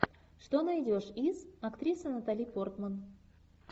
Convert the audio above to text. что найдешь из актриса натали портман